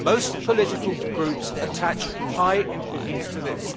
Most political groups attach high importance to this.